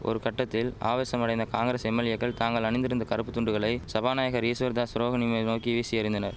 ஒரு கட்டத்தில் ஆவேசமடைந்த காங்கிரஸ் எம்எல்ஏக்கள் தாங்கள் அணிந்திருந்த கறுப்பு துண்டுகளை சபாநாயகர் ஈஸ்வர்தாஸ் ரோகனி மேல் நோக்கி வீசி எறிந்தனர்